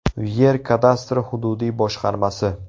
Yer kadastri hududiy boshqarmasi.